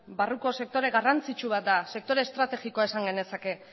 barruko sektore garrantzitsu bat da sektore estrategikoa esan genezake